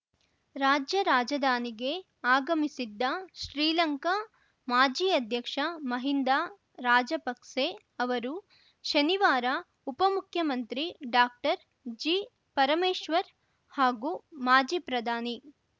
ರಾಜ್ಯ ರಾಜಧಾನಿಗೆ ಆಗಮಿಸಿದ್ದ ಶ್ರೀಲಂಕಾ ಮಾಜಿ ಅಧ್ಯಕ್ಷ ಮಹಿಂದಾ ರಾಜಪಕ್ಸೆ ಅವರು ಶನಿವಾರ ಉಪಮುಖ್ಯಮಂತ್ರಿ ಡಾಕ್ಟರ್ ಜಿಪರಮೇಶ್ವರ್‌ ಹಾಗೂ ಮಾಜಿ ಪ್ರಧಾನಿ